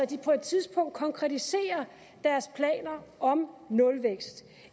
de på et tidspunkt konkretiserer deres planer om nulvækst